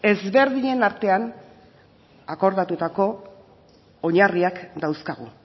ezberdinen artean akordatutako oinarriak dauzkagu